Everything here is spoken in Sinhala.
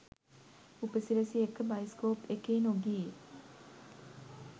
උපසිරැසි එක්ක බයිස්කෝප් එකේ නොගියේ